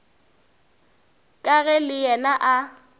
ka ge le yena a